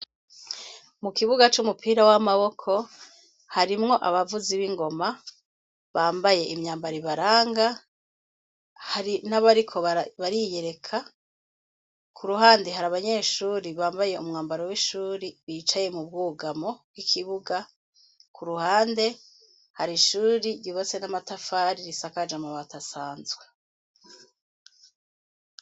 Mukibuga cumupira wamaboko harimwo abavuzi bingoma bambaye imyambaro ibaranga hari nabariko bariyereka iruhande hari abanyeshure Bambaye umwambaro wishure bicaye mubwugamwo kuruhande Hari Ishure ryubatse namatafari risakaje amabati asanzwe.